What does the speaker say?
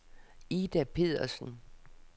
Ida Pedersen